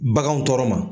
Baganw tɔɔrɔ ma